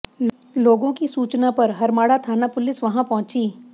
लोगों की सूचना पर हरमाड़ा थाना पुलिस वहां पहुंची